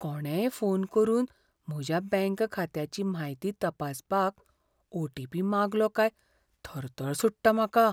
कोणेय फोन करून म्हज्या बँक खात्याची म्हायती तपासपाक ओटीपी मागलो काय थरथर सुट्टा म्हाका.